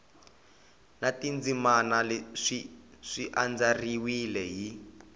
na tindzimana swi andlariwile hi